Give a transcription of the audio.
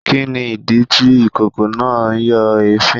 Kini idi ti ikoko naa n yo èéfín